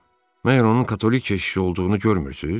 Məgər onun katolik keşişi olduğunu görmürsüz?